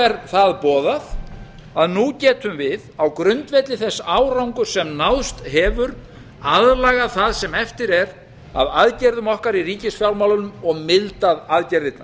er það boðað að nú getum við á grundvelli þess árangurs sem náðst hefur aðlagað það sem eftir er af aðgerðum okkar í ríkisfjármálunum og mildað aðgerðirnar